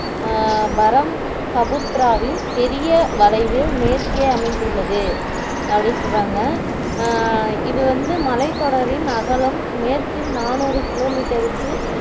அஹ் பரம் சபுத்திராவின் பெரிய வளைவில் மேற்கே அமைந்துள்ளது அப்படி சொல்லுறாங்க அஹ் இது வந்து மலைத்தொடரின் அகலம் மேற்கில் நாநூறு kilometer க்கு